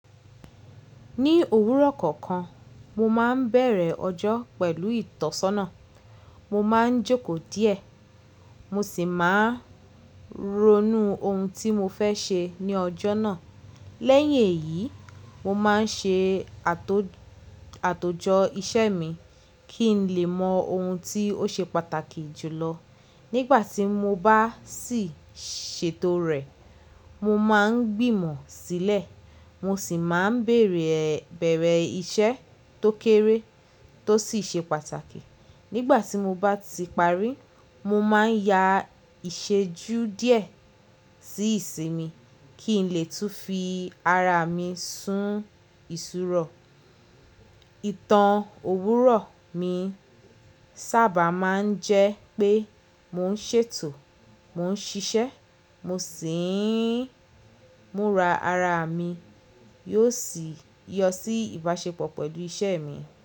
Ní òwúrọ̀ kọ̀ọ̀kan, mo máa ń bẹ̀rẹ̀ ọjọ́ pẹ̀lú ìtọ́sọ́nà. Mo máa ń jókòó díẹ̀, mo sì máa ń ronú ohun tí mo fẹ́ ṣe ní ọjọ́ náà. Lẹ́yìn èyí, mo máa ń ṣe àtòjọ iṣẹ́ mi kí n lè mọ ohun tí ó ṣe pàtàkì jùlọ. Nígbà tí mo bá sì ṣètò rẹ̀, mo máa ń gbìmọ̀ sílẹ̀, mo sì máa ń bèèrè ìṣe tó kéré tó sì ṣe pàtàkì. Nígbà tí mo bá ti parí, mo máa ń ya ìṣejú díẹ̀ sí ìsinmi kí n lè tún fi ara mi sun ìṣúró. Ìtàn òwúrọ̀ mi sábà máa ń jẹ́ pé mo ń ṣètò, mo ń ṣiṣẹ́, mo sì ń múra ara mi, yóò sì yọ sí ìbáṣepọ̀ pẹ̀lú iṣẹ́ mi.